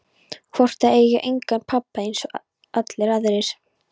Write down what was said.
Hvort það eigi engan pabba einsog allir aðrir.